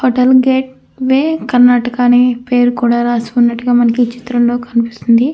Hotel Karnataka అని పేరు కూడా రాసి ఉన్నట్టుగా మనకీ చిత్రంలో కనిపిస్తుంది.